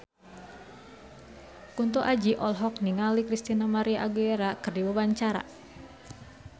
Kunto Aji olohok ningali Christina María Aguilera keur diwawancara